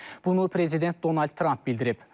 Bunu prezident Donald Tramp bildirib.